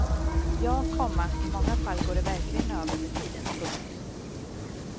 Ja, komma i många fall går det verkligen över med tiden. punkt